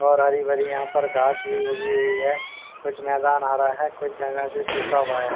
और हरी भरी यहां पर घास भी उभी हुई है कुछ मैदान आ रहा है कुछ जगह से शुखा हुआ है।